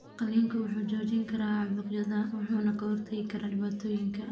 Qalliinku wuxuu joojin karaa caabuqyada wuxuuna ka hortagi karaa dhibaatooyinka.